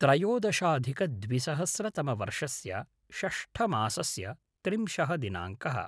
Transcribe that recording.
त्रयोदशाधिकद्विसहस्रतमवर्षस्य षष्टमासस्य त्रिंशः दिनाङ्कः